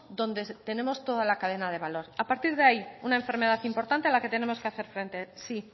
donde tenemos toda la cadena de valor a partir de ahí una enfermedad importante a la que tenemos que hacer frente sí